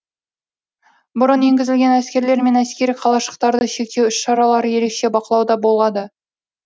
бұрын енгізілген әскерлер мен әскери қалашықтарда шектеу іс шаралары ерекше бақылауда болады